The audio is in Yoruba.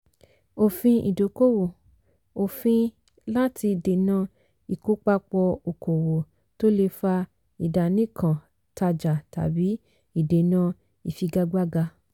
òfin ìdókòwò - òfin láti dènà ìkópapọ̀ okòwò tó lè fa ìdánìkan-tajà tàbí ìdènà ìfigagbága.